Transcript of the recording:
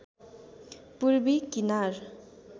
पूर्वी किनार